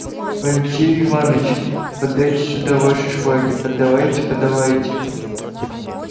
алексей иваныч подайте сюда ваши шпаги подавайте подавайте